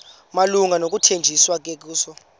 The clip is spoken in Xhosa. malunga nokuthanjiswa kukayesu